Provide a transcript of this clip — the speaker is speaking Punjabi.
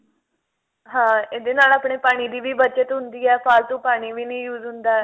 ਹਾਂ ਇਹਦੇ ਨਾਲ ਆਪਣੇ ਪਾਣੀ ਦੀ ਵੀ ਬੱਚਤ ਹੁੰਦੀ ਹੈ ਫਾਲਤੂ ਪਾਣੀ ਵੀ ਨਹੀਂ use ਹੁੰਦਾ